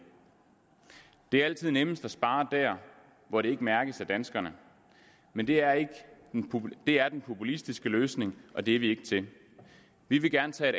det er altid nemmest at spare der hvor det ikke mærkes af danskerne men det er det er den populistiske løsning og det er vi ikke til vi vil gerne tage